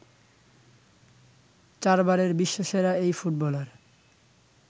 চারবারের বিশ্বসেরা এই ফুটবলার